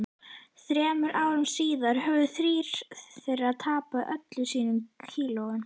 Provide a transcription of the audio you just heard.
Þremur árum síðar höfðu þrír þeirra tapað öllum sínum kílóum.